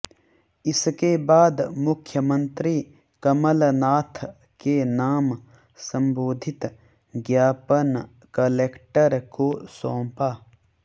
इसके बाद मुख्यमंत्री कमलनाथ के नाम संबोधित ज्ञापन कलेक्टर को सौंपा